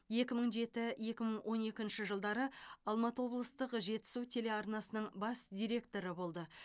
екі мың жеті екі мың он екінші жылдары алматы облыстық жетісу телеарнасының бас директоры болды